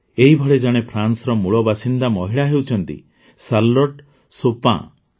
ଏହିଭଳି ଜଣେ ଫ୍ରାନ୍ସର ମୂଳବାସିନ୍ଦା ମହିଳା ହେଉଛନ୍ତି ଶାର୍ଲୋଟ୍ ସୋପାଁ